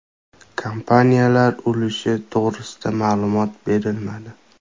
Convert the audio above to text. Kompaniyalar ulushi to‘g‘risida ma’lumot berilmadi.